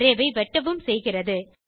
array ஐ வெட்டவும் செய்கிறது